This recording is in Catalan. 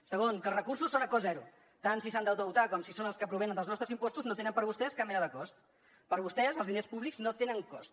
segon que els recursos són a cost zero tant si s’han d’endeutar com si són els que provenen dels nostres impostos no tenen per a vostès cap mena de cost per a vostès els diners públics no tenen cost